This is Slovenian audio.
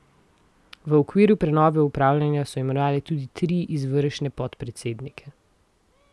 V okviru prenove upravljanja so imenovali tudi tri izvršne podpredsednike.